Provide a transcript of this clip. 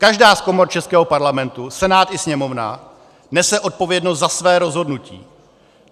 Každá z komor českého Parlamentu, Senát i Sněmovna, nese odpovědnost za své rozhodnutí.